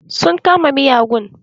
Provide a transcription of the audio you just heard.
Sun kama miyagun.